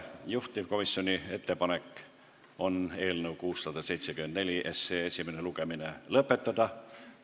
Juhtivkomisjoni ettepanek on eelnõu 674 esimene lugemine lõpetada.